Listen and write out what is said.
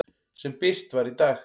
sem birt var í dag.